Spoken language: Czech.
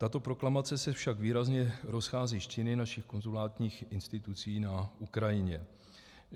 Tato proklamace se však výrazně rozchází s činy našich konzulárních institucí na Ukrajině.